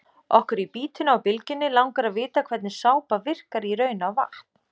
Okkur í Bítinu á Bylgjunni langar að vita hvernig sápa virkar í raun á vatn?